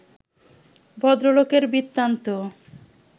ভদ্রলোকের বৃত্তান্ত